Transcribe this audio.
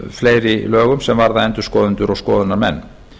fleiri lögum varðandi endurskoðendur og skoðunarmenn